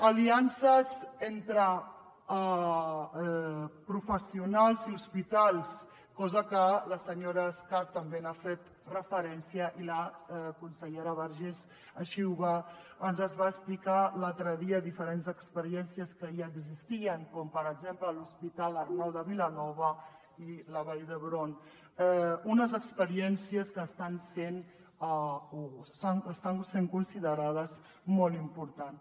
aliances entre professionals i hospitals cosa a què la senyora escarp també ha fet referència i que la consellera vergés així ens ho va explicar l’altre dia diferents experiències que ja existien com per exemple a l’hospital arnau de vilanova i la vall d’hebron unes experiències que estan sent considerades molt importants